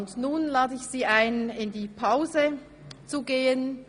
Nun lade ich Sie ein, in die Pause zu gehen.